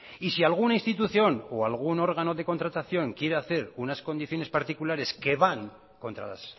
y si alguna institución o algún órgano de contratación quiere hacer unas condiciones particulares que van contra las